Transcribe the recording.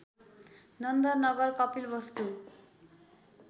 Nand Nagar Kapilvastu